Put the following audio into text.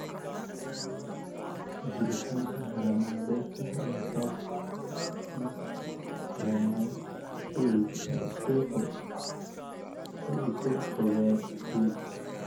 Jiritaanka haramaha beerta ayaa sababa in caleemaha galleyda ay isu rogaan huruud.